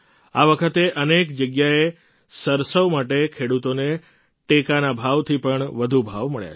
આ વખતે અનેક જગ્યાએ સરસવ માટે ખેડૂતોને ટેકાના ભાવથી પણ વધુ ભાવ મળ્યા છે